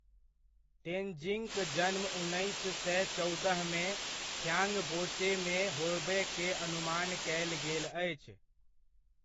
तेन्जिङक जन्म उन्नैस सए चौदहमे, थ्याङबोचेमे होबय के अनुमान कयल गेल अछि।